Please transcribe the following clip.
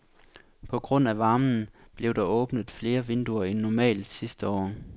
På grund af varmen blev der åbnet flere vinduer end normalt sidste år.